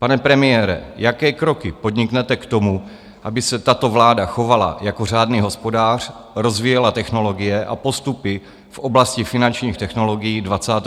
Pane premiére, jaké kroky podniknete k tomu, aby se tato vláda chovala jako řádný hospodář, rozvíjela technologie a postupy v oblasti finančních technologií 21. století?